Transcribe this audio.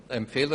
Auflagen: 1.